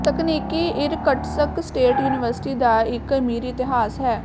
ਤਕਨੀਕੀ Irkutsk state university ਦਾ ਇੱਕ ਅਮੀਰ ਇਤਿਹਾਸ ਹੈ